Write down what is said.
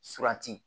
Surati